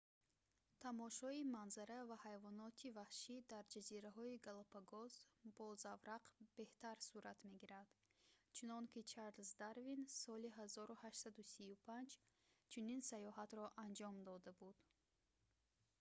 тамошои манзара ва ҳайвоноти ваҳшӣ дар ҷазираҳои галапагос бо заврақ беҳтар сурат мегирад чунон ки чарлз дарвин соли 1835 чунин сайёҳатро анҷом дода буд